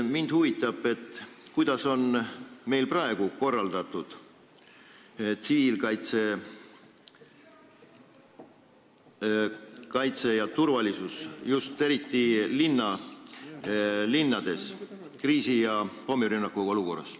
Mind huvitab, kuidas on meil praegu korraldatud tsiviilkaitse ja turvalisus, eriti linnades kriisi- ja pommirünnakuolukorras.